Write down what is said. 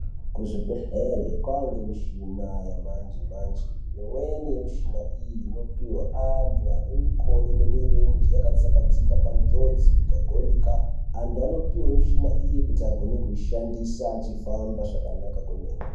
Kuzvibhehlere kwange muchina yechimanje manje imweni ye muchina iyi ipihwa antu ane mikodo nemirenje yakatsakatika panjodzi ikagurika antu anopuwe muchina iyi kuti agone kuishandisa achifamba zvakanaka kwemene.